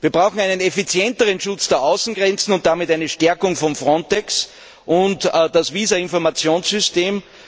Wir brauchen einen effizienteren Schutz der Außengrenzen und damit eine Stärkung von Frontex und das Visa Informationssystem.